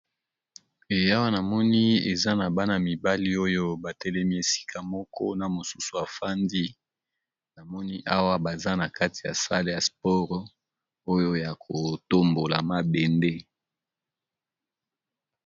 Eh awa na moni eza na bana mibali oyo ba telemi esika moko na mosusu afandi, na moni awa baza na kati ya salle ya sport oyo ya ko tombola mabende.